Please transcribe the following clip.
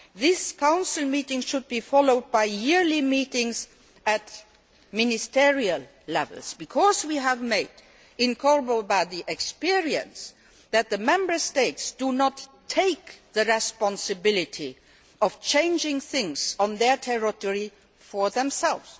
That Council meeting should be followed by yearly meetings at ministerial level because we have had cold experience of Member States not taking responsibility for changing things on their territory for themselves.